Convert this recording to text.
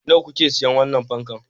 Nawa kuka sayi wannan fankan?